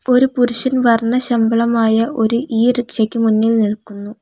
ഒരു പുരുഷൻ വർണ്ണശബളമായ ഒരു ഈ റിക്ഷ യ്ക് മുന്നിൽ നിൽക്കുന്നു.